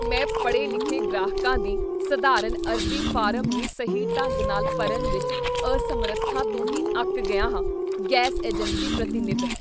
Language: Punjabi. ਮੈਂ ਪੜ੍ਹੇ ਲਿਖੇ ਗ੍ਰਾਹਕਾਂ ਦੀ ਸਧਾਰਨ ਅਰਜ਼ੀ ਫਾਰਮ ਨੂੰ ਸਹੀ ਢੰਗ ਨਾਲ ਭਰਨ ਵਿੱਚ ਅਸਮਰੱਥਾ ਤੋਂ ਹੀ ਅੱਕ ਗਿਆ ਹਾਂ ਗੈਸ ਏਜੰਸੀ ਪ੍ਰਤੀਨਿਧ